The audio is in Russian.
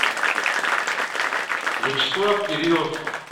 вячеслав кириллов